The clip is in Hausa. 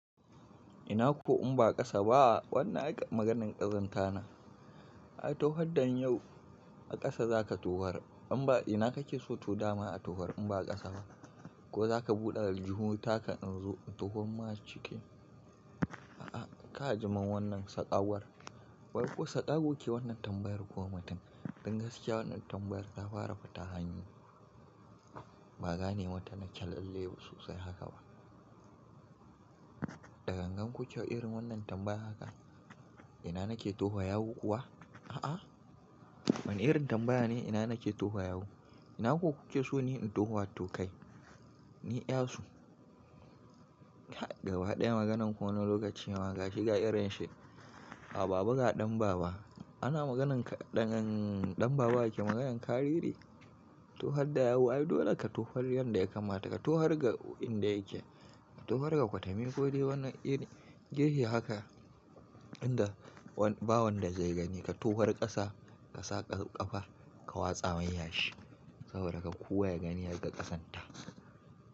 Ina ko in ba ƙasa ba? Wannan ai ka maganan ƙazanta na. Ai tohar da miyau a ƙasa za ka tohar. Amma ina kake so to dama a tohar in ba a ƙasa ba? Ko za ka buɗe aljihu ta ka in zo in tohar ma aciki? A'a, ka ajiye mun wannan saƙawar. Wai ko saƙago ke wannan tambayar mutum. Dan gaskiya wannan tambayar ta fara fita hanya. Ba gane mata nake lalle ba sosai haka ba. Da gangan kuke irin wannan tambaya haka? Ina nake tofa yawu kuwa? A'a. Wane irin tambaya ne ina nake tofa yawu? Ina ko kuke so ni in tofa in to kai, ni ƴasu? Gaba ɗaya maganan ku wani lokaci ma gashi ga irin shi. A babuga ɗan baba. Ana maganan ka ɗan ɗan baba yake maganan karere. Tofar da yawu, ai dole ka tofar yanda ya kamata, ka tofar ga inda yake, ka tofar ga kwatami ko dai wani iri gefe haka inda ba wanda zai gani. Ka tofar ƙasa ka sa ƙafa ka watsa mai yashi saboda kar kowa ya gani ya ga ƙazanta.